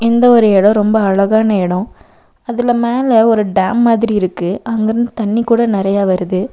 இந்த ஒரு எடோ ரொம்ப அழகான எடோ அதுல மேல ஒரு டேம் மாதிரி இருக்கு அங்கிருந்து தண்ணி கூட நெறையா வருது.